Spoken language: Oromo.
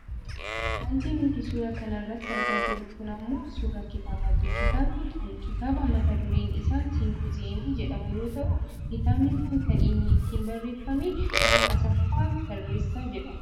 Wanti nuti suuraa kana irratti argaa jirru kun ammoo suuraa kitaabaati. Kitaabni kun kitaaba mata dureen isaa symposium jedhu yoo ta'u kitaabni kun kan inni ittiin barreefame nama Asaffaa Tarreessaa jedhamuuni.